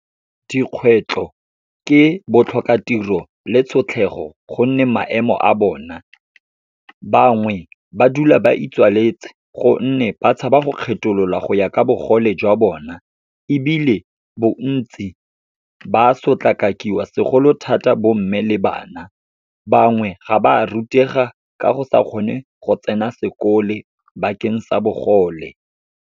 Dikgwetlho ke, botlhokatiro le tshotlhego gonne maemo a bona, bangwe ba dula ba itswaletse gonne ba tshaba go kgethololwa go ya ka bogole jwa bona, ebile bontsi ba sotlakakiwa segolo thata bomme le bana. Bangwe ga ba rutega ka go sa kgone go tsena sekolo, bakeng sa bogole.